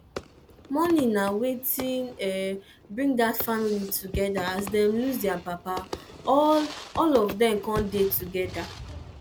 mourning na wetin bring dat family together as dem lose their papa all all of dem come dey togeda